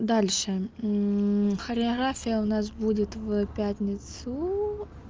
дальше хореография у нас будет в пятницу